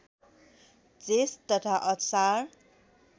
जेष्ठ तथा असार